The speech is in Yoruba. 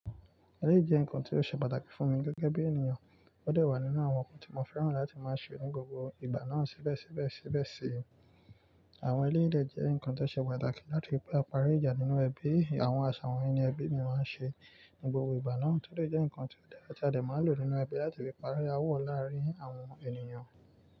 Eléyìí jẹ́ nǹkan tí ó ṣe pàtàkì fún mi gẹ́gẹ́ bí ènìyàn. Ó dà wà nínú àwọn nǹkan tí mo fẹ́ràn láti máa ṣe ní gbogbo ìgbà náà sébẹ̀síbẹ̀síbẹ̀ sí. Àwọn ẹlẹ́yìí dẹ̀ jẹ́ nǹkan tó ṣe pàtàkì náà nítorí pé aparí ìjà nínú ẹbí. Àwọn àṣà wọ̀nyí ni ẹbí mi máa ń ṣe ní gbogbo ìgbà náà tòde jẹ́ nǹkan tí ọ̀dẹ àti adẹ máa ń lò nínú ẹbí láti fi parí aáwọ̀ láàárín àwọn ènìyàn.